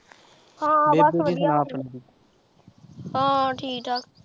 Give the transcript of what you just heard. ਹਾਂ ਬਸ ਵਧੀਆ ਹਾਂ ਠੀਕ ਠਾਕ